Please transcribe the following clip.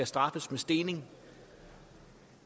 straffes med stening